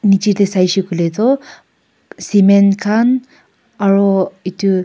Nechidae saishe koile tuh cement khan aro etu--